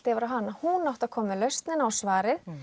yfir á hana hún átti að koma með lausnina og svarið